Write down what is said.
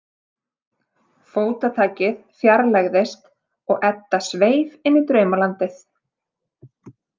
Fótatakið fjarlægðist og Edda sveif inn í draumalandið.